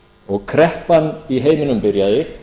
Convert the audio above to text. og kreppan í heiminum byrjaði